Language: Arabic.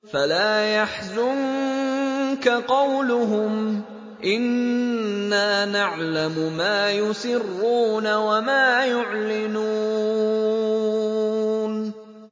فَلَا يَحْزُنكَ قَوْلُهُمْ ۘ إِنَّا نَعْلَمُ مَا يُسِرُّونَ وَمَا يُعْلِنُونَ